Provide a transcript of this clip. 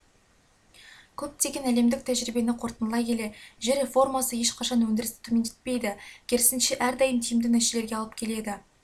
көптеген әлемдік тәжірибені қорытындылай келе жер реформасы ешқашан өндірісті төмендетпейді керісінше әрдайым тиімді нәтижелерге алып келеді